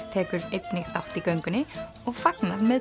tekur einnig þátt í göngunni og fagnar með